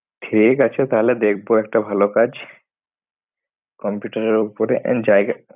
ঠিক আছে তাহলে দেখবো একটা ভালো কাজ। computer এর ওপরে।